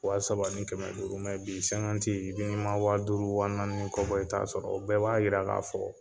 Wa saba ni kɛmɛ duuru bi n'i ma wa duuru wa naani ni kɔ bɔ, i t'a sɔrɔ o bɛɛ b'a yira l'a fɔ